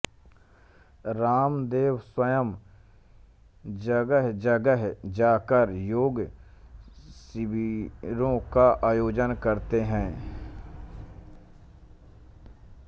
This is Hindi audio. रामदेव स्वयं जगहजगह जाकर योग शिविरों का आयोजन करते हैं